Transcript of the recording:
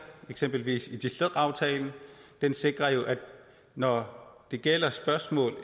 eksempelvis aftalen der sikrer at når det gælder spørgsmål